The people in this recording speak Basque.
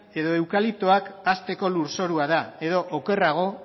edo eukaliptoak hazteko lurzorua da edo okerrago